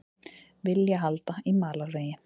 Vilja halda í malarveginn